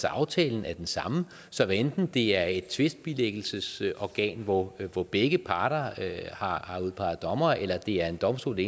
aftalen er den samme så hvad enten det er et tvistbilæggelsesorgan hvor hvor begge parter har udpeget dommere eller det er en domstol i